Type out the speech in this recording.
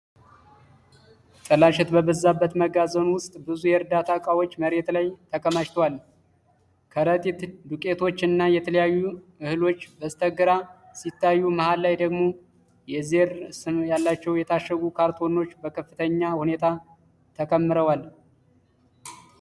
ጥላሸት በበዛበት መጋዘን ውስጥ ብዙ የእርዳታ እቃዎች መሬት ላይ ተከማችተዋል። ከረጢት ዱቄቶች እና የተለያዩ እህሎች በስተግራ ሲታዩ፣ መሃል ላይ ደግሞ የ"ZER" ስም ያላቸው የታሸጉ ካርቶኖች በከፍተኛ ሁኔታ ተከምረዋል።